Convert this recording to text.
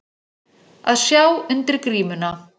Að sjá undir grímuna